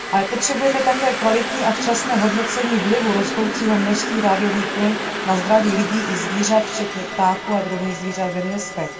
Potřebujeme však také kvalitní a včasné hodnocení vlivu rostoucího množsví rádiových vln na zdraví lidí i zvířat včetně ptáků a drobných zvířat ve městech.